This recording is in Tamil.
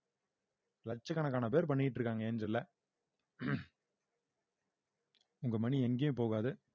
லட்சக்கணக்கான பேர் பண்ணிட்டிருக்காங்க ஏஞ்சல்ல உங்க money எங்கயும் போகாது